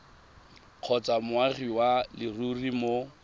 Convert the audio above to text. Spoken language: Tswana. kgotsa moagi wa leruri mo